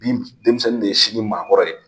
Bi denmisɛnnin de ye sini maakɔrɔ ye.